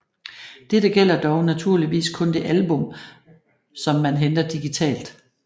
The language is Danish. Dette gælder dog naturligvis kun det album som man henter digitalt